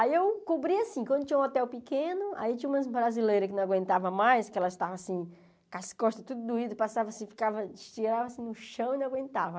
Aí eu cobri assim, quando tinha um hotel pequeno, aí tinha umas brasileiras que não aguentavam mais, que elas estavam assim, com as costas tudo doidas, passavam assim, ficavam, estiravam assim no chão e não aguentavam.